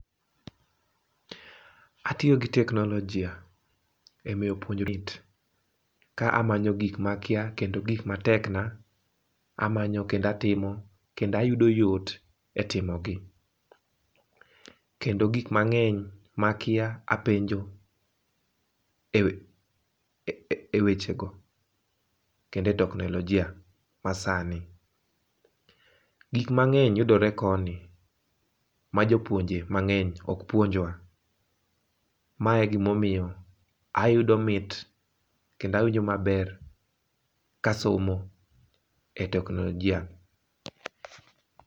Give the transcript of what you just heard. Atiyo gi teknolojia e ka amanyo gik ma akia kendo gik ma tekna amanyo kendo atimo kendo ayudo yot e timogi, kendo gik mang'eny ma akia apenjo e e weche go kendo e teknolijia ma sani. Gik mang'eny yudore koni ma jopuonje mang'eny ok puonjwa. Ma e gi ma omiyo ayudo mit kendo awinjo maber ka asomo e e teknolojia.